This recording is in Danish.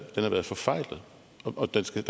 forfejlet og der skal